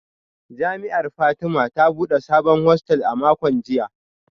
Jami’ar Fatima ta bude sabon hostel a makon jiya